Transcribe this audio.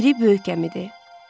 Biri böyük gəmidir.